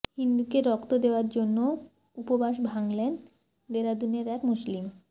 হিন্দুকে রক্ত দেওয়ার জন্য উপবাস ভাঙলেন দেরাদুনের এক মুসলিম